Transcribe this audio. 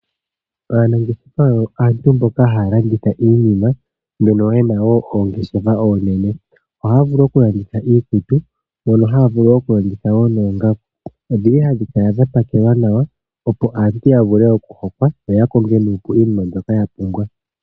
Aanageshefa oyo aantu mboka haya landitha iinima mbono yena woo ongeshefa oonene , ohaya vulu okulanditha iikutu mono haya vulu okulanditha noongaku odhili hadhi kala dha pakelwa nawa opo aantu vule okuhokwa yo yakonge nuupu iinima mbyoka yapumbwa.